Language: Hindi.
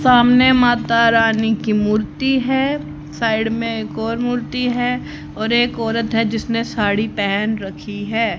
सामने माता रानी की मूर्ति है साइड में एक और मूर्ति है और एक औरत है जिसने साड़ी पहेन रखी है।